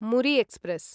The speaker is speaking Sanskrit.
मुरि एक्स्प्रेस्